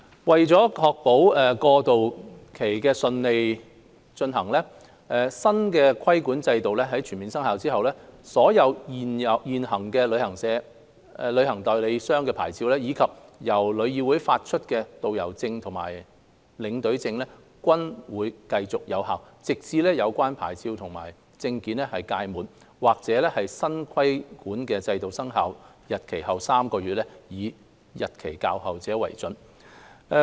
為確保過渡期順利，新規管制度全面生效後，所有現行旅行代理商牌照，以及由旅議會發出的導遊證和領隊證，均會繼續有效，直至有關牌照和證件屆滿，或新規管制度生效日期後3個月，以日期較後者為準。